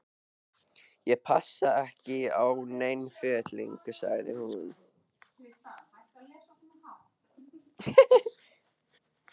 Ég passa ekki í nein föt lengur sagði hún.